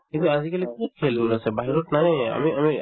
কিন্তু আজিকালি কত খেল আছে বাহিৰত নায়ে আমি